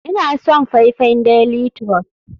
Ina son faifan daily trust.